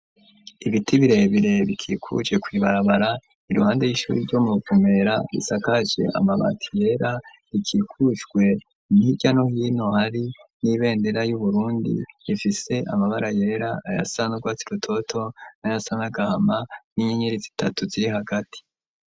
Ibiti birebire, bikikuje kw'ibarabara, iruhande y'ishuri ryo mu Ruvumera; risakaje amabati yera, rikikujwe hirya no hino, hari n'ibendera y'Uburundi, ifise amabara yera, ayasa n'urwatsi rutoto, n'ayasa n'agahama; n'inyenyeri zitatu ziri hagati.